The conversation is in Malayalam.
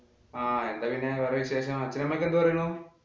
ആഹ് എന്താ പിന്നെ വേറെ വിശേഷങ്ങള്? അച്ഛനും അമ്മയും ഒക്കെ എന്തു പറയുന്നു.